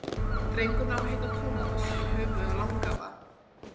Drengurinn á að heita Tómas í höfuðið á langafa.